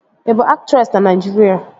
Ị bụ aktresị na Naịjirịa?